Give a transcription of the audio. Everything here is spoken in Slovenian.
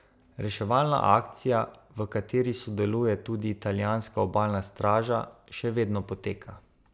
Reševalna akcija, v kateri sodeluje tudi italijanska obalna straža, še vedno poteka.